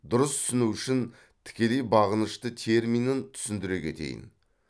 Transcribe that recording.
дұрыс түсіну үшін тікелей бағынышты терминін түсіндіре кетейін